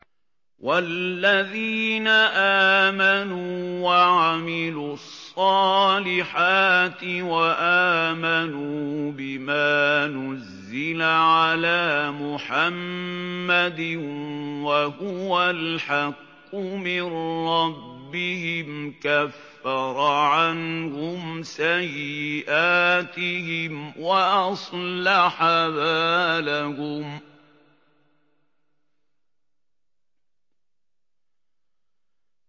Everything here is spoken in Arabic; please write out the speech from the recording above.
وَالَّذِينَ آمَنُوا وَعَمِلُوا الصَّالِحَاتِ وَآمَنُوا بِمَا نُزِّلَ عَلَىٰ مُحَمَّدٍ وَهُوَ الْحَقُّ مِن رَّبِّهِمْ ۙ كَفَّرَ عَنْهُمْ سَيِّئَاتِهِمْ وَأَصْلَحَ بَالَهُمْ